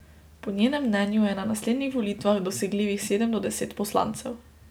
Po njenem mnenju je na naslednjih volitvah dosegljivih sedem do deset poslancev.